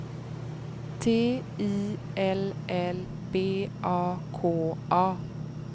T I L L B A K A